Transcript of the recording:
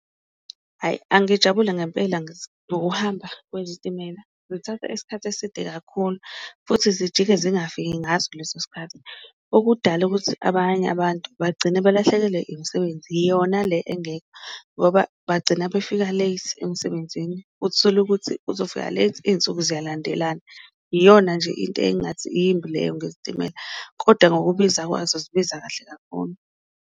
Hhayi, angijabule ngempela ngokuhamba kwezitimela, zithatha isikhathi eside kakhulu futhi zijike zingafiki ngaso leso sikhathi, okudala ukuthi abanye abantu bagcina balahlekelwe imisebenzi yona le engekho ngoba bagcina bafika late emsebenzini. Uthole ukuthi uzofika late iyinsuku ziyalandelana, iyona nje into engathi yimbi leyo ngezitimela kodwa ngokubiza kwazo zibiza kahle kakhulu.